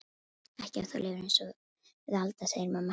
Ekki ef þú lifir einsog við Alda, segir mamma hennar.